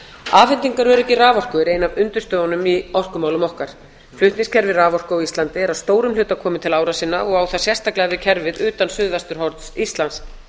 afhendingaröryggi raforku er ein af undirstöðunum í orkumálum okkar flutningskerfi raforku á íslandi er að stórum hluta komið til ára sinna og á það sérstaklega við kerfið utan suðvesturhorns íslands